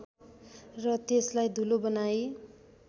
र त्यसलाई धूलो बनाई